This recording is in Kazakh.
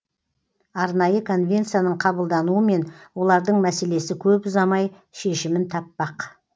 арнайы конвенцияның қабылдануымен олардың мәселесі көп ұзамай шешімін таппақ